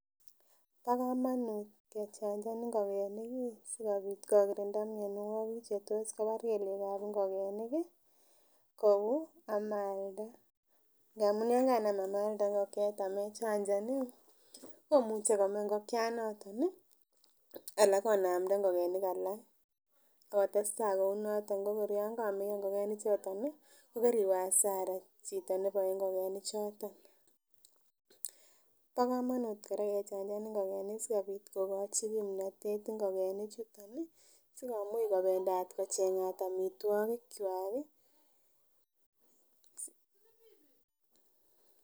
Bo komonut kechanjan ngokenik ih sikobit kokirinda mionwogik chetos kobar kelyekab ngokenik ih kou amalda amun yon kanam amalda ngokiet amechanjan ih komuche kome ngokianoton ih anan konamda ngokenik alak akotestaa kounoton ko kor komeyo ngokenik choton ih kokeriwe hasara chito neboe ngokenik choton. Bo komonut kora kechanjan ngokenik sikobit kokochi kimnotet ngokenik chuton ih sikomuch kobendat kocheng'at amitwogik kwak ih .